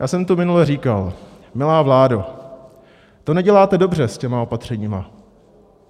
Já jsem tu minule říkal: Milá vládo, to neděláte dobře s těmi opatřeními.